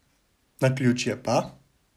Naključje pa?